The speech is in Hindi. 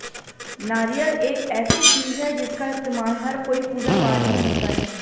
नारियल एक ऐसी चीज है जिसका इस्तेमाल हर कोई पूजा पाठ में होता है